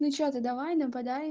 ну что ты давай нападай